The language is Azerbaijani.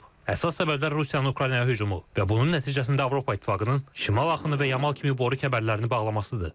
Əsas səbəblər Rusiyanın Ukraynaya hücumu və bunun nəticəsində Avropa İttifaqının şimal axını və Yamal kimi boru kəmərlərini bağlamasıdır.